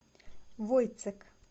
войцек